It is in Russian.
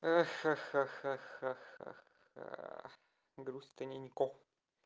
а ха ха ха ха ха ха грустненько